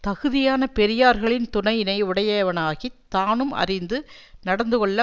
தகுதியான பெரியார்களின் துணையினை உடையவனாகித் தானும் அறிந்து நடந்துகொள்ள